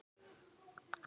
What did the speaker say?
Lítið hrynur úr honum.